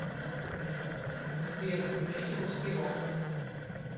сбер включить русский рок